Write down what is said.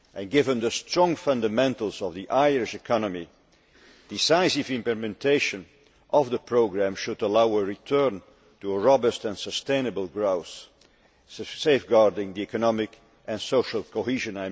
Given the strong fundamentals of the Irish economy, decisive implementation of the programme should allow a return to a robust and sustainable growth, safeguarding the economic and social cohesion.'